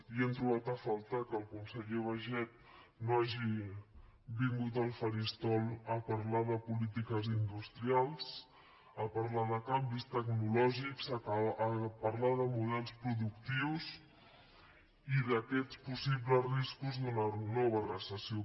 i hem trobat a faltar que el conseller baiget no hagi vingut al faristol a parlar de polítiques industrials a parlar de canvis tecnològics a parlar de models productius i d’aquests possibles riscos d’una nova recessió